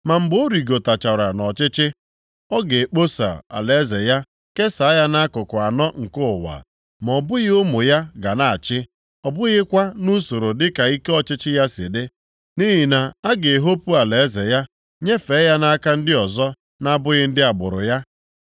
Ma mgbe ọ rịgotachara nʼọchịchị, a ga-ekposa alaeze ya kesaa ya nʼakụkụ anọ nke ụwa ma ọ bụghị ụmụ ya ga na-achị. Ọ bụghịkwa nʼusoro dịka ike ọchịchị ya si dị, nʼihi na a ga-ehopu alaeze ya, nyefee ya nʼaka ndị ọzọ na-abụghị ndị agbụrụ ya.